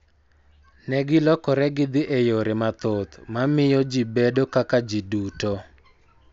Ne gilokore gidhi e yore mathoth ma miyo ji bedo kaka ji duto,